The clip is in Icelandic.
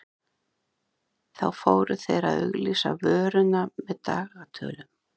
þá fóru þeir að auglýsa vöruna með dagatölum